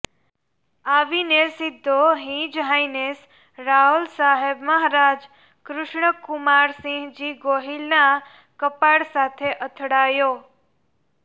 આવીને સીધો his highness Raolsaheb Maharaja Krishnakumarsinhji ગોહિલના કપાળ સાથે અથડાયો